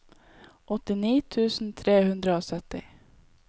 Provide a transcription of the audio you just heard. åttini tusen tre hundre og sytti